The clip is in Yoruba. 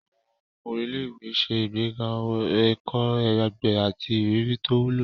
Àwọn oko ilé-ìwé ń ṣe ìgbéga ẹ̀kọ́ àgbẹ̀ àti ìrírí tó wúlò.